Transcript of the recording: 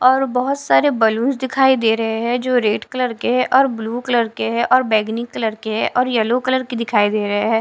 और बहुत सारे बलूंस दिखाई दे रहे हैं जो रेड कलर के है और ब्लू कलर के है और बैंगनी कलर के है और येलो कलर के दिखाई दे रहे है।